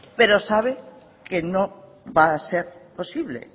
pero sabe que no va a ser posible